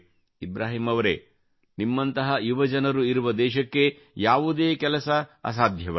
ಇಬ್ರಾಹಿಂ ಅವರೆ ನಿಮ್ಮಂತಹ ಯುವಜನರು ಇರುವ ದೇಶಕ್ಕೆ ಯಾವುದೇ ಕೆಲಸ ಅಸಾಧ್ಯವಲ್ಲ